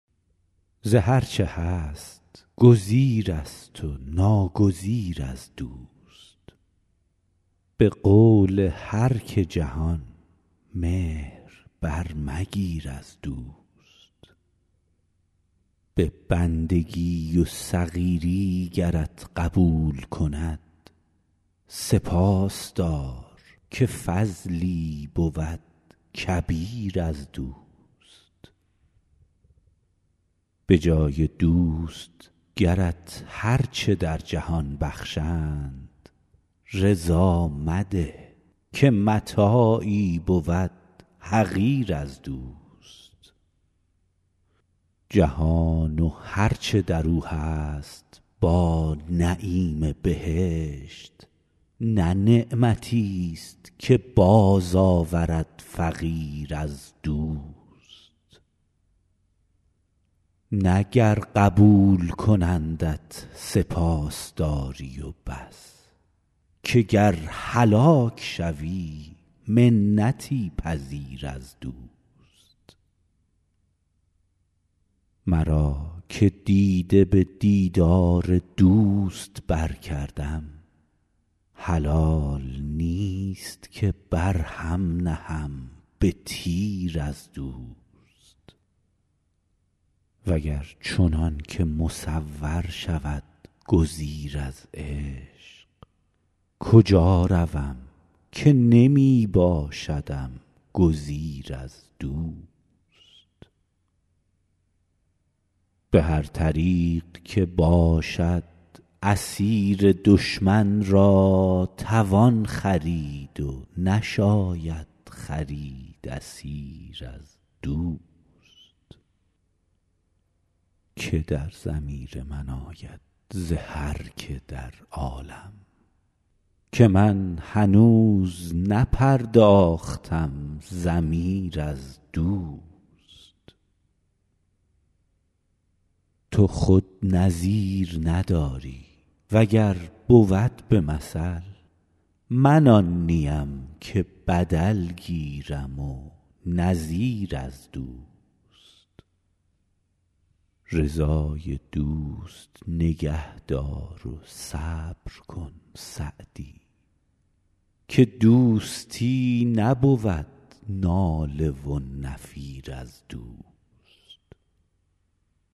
ز هر چه هست گزیرست و ناگزیر از دوست به قول هر که جهان مهر برمگیر از دوست به بندگی و صغیری گرت قبول کند سپاس دار که فضلی بود کبیر از دوست به جای دوست گرت هر چه در جهان بخشند رضا مده که متاعی بود حقیر از دوست جهان و هر چه در او هست با نعیم بهشت نه نعمتیست که بازآورد فقیر از دوست نه گر قبول کنندت سپاس داری و بس که گر هلاک شوی منتی پذیر از دوست مرا که دیده به دیدار دوست برکردم حلال نیست که بر هم نهم به تیر از دوست و گر چنان که مصور شود گزیر از عشق کجا روم که نمی باشدم گزیر از دوست به هر طریق که باشد اسیر دشمن را توان خرید و نشاید خرید اسیر از دوست که در ضمیر من آید ز هر که در عالم که من هنوز نپرداختم ضمیر از دوست تو خود نظیر نداری و گر بود به مثل من آن نیم که بدل گیرم و نظیر از دوست رضای دوست نگه دار و صبر کن سعدی که دوستی نبود ناله و نفیر از دوست